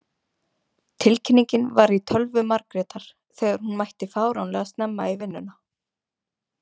Tilkynningin var í tölvu Margrétar þegar hún mætti fáránlega snemma í vinnuna.